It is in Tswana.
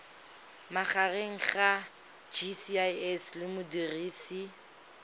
magareng ga gcis le modirisi